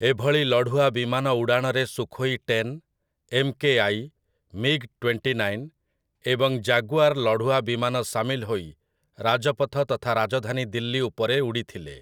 ଏଭଳି ଲଢ଼ୁଆ ବିମାନ ଉଡ଼ାଣରେ Sukhoi ten, MKI., MiG twenty nine ଏବଂ ଜାଗୁଆର୍ ଲଢ଼ୁଆ ବିମାନ ସାମିଲ ହୋଇ ରାଜପଥ ତଥା ରାଜଧାନୀ ଦିଲ୍ଲୀ ଉପରେ ଉଡ଼ିଥିଲେ ।